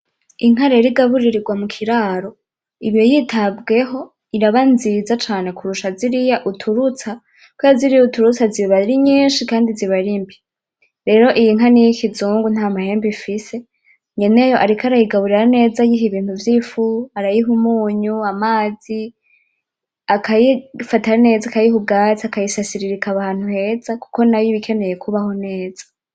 Inka rero igaburirirwa mu kiraro iba yitabweho, iraba nziza cane kurusha ziriya uturutsa, kubera ziriya uturutsa ziba ari nyinshi kandi ziba ari mbi, rero iyi nka ni iy'ikizungu nta mahembe ifise. Nyeneyo ariko arayigaburira neza ayiha ibintu vy'ifu, arayiha umunyu, amazi, akayifata neza, akayiha ubwatsi, akayisasira ikaba ahantu heza kuko nayo iba ikeneye kubaho neza.